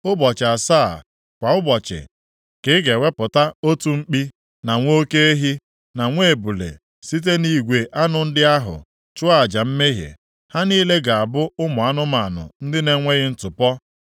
“Ụbọchị asaa, kwa ụbọchị ka ị ga-ewepụta otu mkpi, na nwa oke ehi, na nwa ebule site nʼigwe anụ ndị ahụ, chụọ aja mmehie. Ha niile ga-abụ ụmụ anụmanụ ndị na-enweghị ntụpọ.